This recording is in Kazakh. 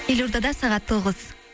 елордада сағат тоғыз